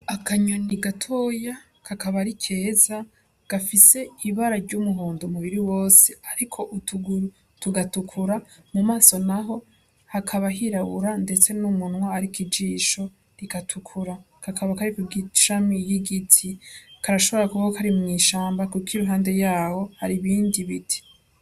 Akanyoni gatoya kakaba ari keza, gafise ibara ry'umuhondo umubiri wose ariko utuguru tugatukura , mu maso n'aho hakaba hirabura ndetse n'umunwa ariko ijisho rigatukura. Kakaba kari kw'ishami ry'igiti, karashobora kuba kari mw'ishamba kuko iruhande yaho hari ibindi biti.